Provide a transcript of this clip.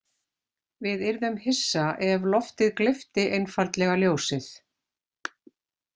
Við yrðum hissa ef loftið gleypti einfaldlega ljósið.